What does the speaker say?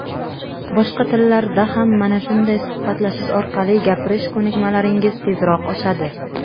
Boshqa tillarda ham mana shunday suhbatlashish orqali gapirish ko‘nikmalaringiz tezroq oshadi.